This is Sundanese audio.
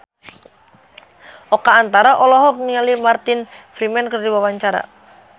Oka Antara olohok ningali Martin Freeman keur diwawancara